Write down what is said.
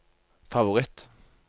favoritt